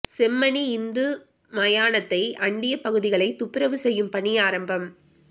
செம்மணி இந்து மயானத்தை அண்டிய பகுதிகளை துப்பரவு செய்யும் பணி ஆரம்பம்